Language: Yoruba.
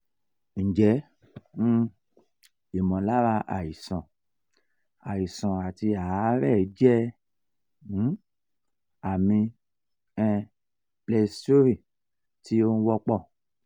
nje um imolara aisan aisan ati aare je um ami um pleurisy ti o wonpo?